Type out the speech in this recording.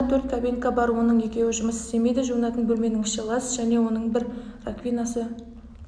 дәретханада төрт кабинка бар оның екеуі жұмыс істемейді жуынатын бөлменің іші лас және оның бір раквинасы